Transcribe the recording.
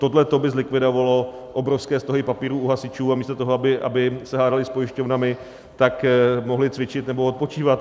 Tohle by zlikvidovalo obrovské stohy papírů u hasičů a místo toho, aby se hádali s pojišťovnami, tak mohli cvičit nebo odpočívat.